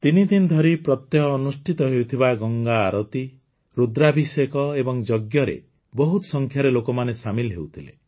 ତିନିଦିନ ଧରି ପ୍ରତ୍ୟହ ଅନୁଷ୍ଠିତ ହେଉଥିବା ଗଙ୍ଗା ଆରତୀ ରୁଦ୍ରାଭିଷେକ ଏବଂ ଯଜ୍ଞରେ ବହୁତ ସଂଖ୍ୟାରେ ଲୋକମାନେ ସାମିଲ ହେଉଥିଲେ